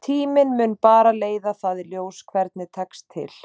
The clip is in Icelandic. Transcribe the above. Tíminn mun bara leiða það í ljós hvernig tekst til.